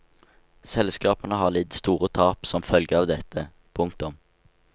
Selskapene har lidd store tap som følge av dette. punktum